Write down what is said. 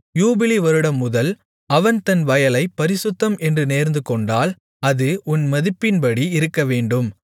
யூபிலி வருடம்முதல் அவன் தன் வயலைப் பரிசுத்தம் என்று நேர்ந்துகொண்டால் அது உன் மதிப்பின்படி இருக்கவேண்டும்